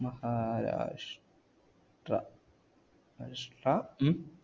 മഹാരാഷ് ട്ര ഷ്ട്ര ഉം